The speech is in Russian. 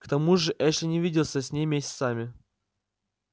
к тому же эшли не виделся с ней месяцами